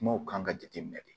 Kumaw kan ka jateminɛ de